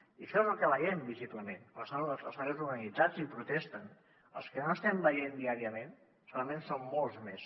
i això és el que veiem visiblement els treballadors organitzats i protesten els que no estem veient diàriament segurament són molts més